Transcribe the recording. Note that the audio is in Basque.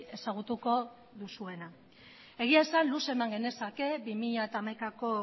ezagutuko duzuena egia esan luze eman genezake bi mila hamaikako